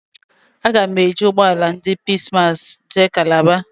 Aga m eji ụgbọ ala ndị Peace massị jee Kalaba